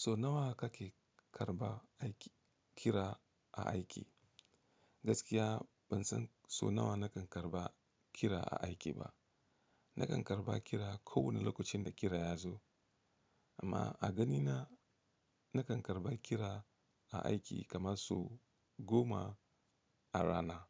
So nawa kake karɓa aiki kira a aiki? Gaskiya ban san so nawa na kan karɓa kira a aiki ba. Na kan karɓa kira kowane lokacin da kira ya zo, amma a ganina na kan karɓa kira a aiki kamar so goma a rana.